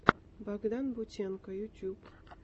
богдан бутенко ютуб